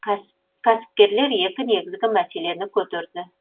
кәсіпкерлер екі негізгі мәселені көтерді